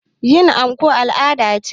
Yin anko al' ada ce